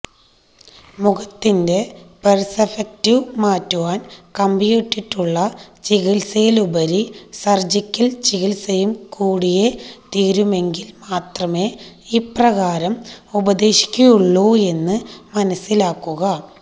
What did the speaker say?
മുഖത്തിന്റെ പെര്സപെക്റ്റിവ് മാറ്റുവാന് കമ്പിയിട്ടിട്ടുള്ള ചികിത്സയിലുപരി സര്ജിക്കല് ചികിത്സയും കൂടിയേ തീരുമെങ്കില് മാത്രമേ ഇപ്രകാരം ഉപദേശിക്കുകയുള്ളു എന്ന് മനസിലാക്കുക